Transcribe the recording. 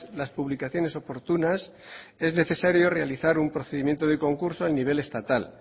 las publicaciones oportunas es necesario realizar un procedimiento de concurso a nivel estatal